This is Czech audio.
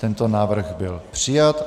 Tento návrh byl přijat.